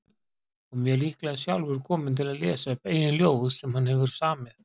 Og mjög líklega sjálfur kominn til að lesa upp eigin ljóð sem hann hefur samið.